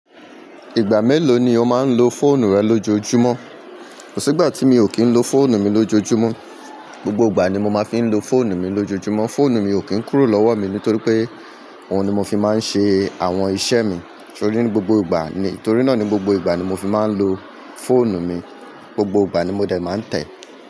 Ìgbà mélòó ni o máa ń lo fóònù rẹ lójoojúmọ́? Kò sí ìgbà tí mi ò kí ń lo fóònù mi lójoojúmọ́. Gbogbo ìgbà ni mo máa fi ń lo fóònù mi lójoojúmọ́. Fóònù mi ò kí ń kúrò lọ́wọ́ mi nítorí pé òun ni mo fi máa ń ṣe àwọn iṣẹ́ mi. Torí gbogbo ìgbà ni, torí náà ni gbogbo ìgbà ni mo fi máa ń lo fóònù mi. Gbogbo ìgbà ni mo dẹ̀ máa ń tẹ̀ ẹ́.